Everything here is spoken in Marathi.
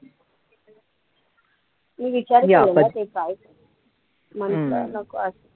मी विचार केलेला ते काय म्हंटलं नको असं